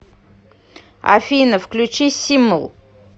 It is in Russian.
афина включи симл